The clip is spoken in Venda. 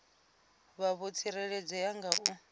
vha vho tsireledzea nga u